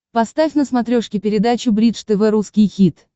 поставь на смотрешке передачу бридж тв русский хит